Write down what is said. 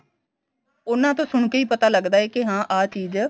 ਉਨ੍ਹਾਂ ਤੋਂ ਸੁਣ ਕੇ ਹੀ ਪਤਾ ਲਗਦਾ ਏ ਕੀ ਹਾਂ ਆ ਚੀਜ਼